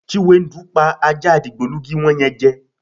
Chiwendu pa ajá digbolugi wo̩n ye̩n je̩.